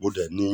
mọ̀ dé ni yín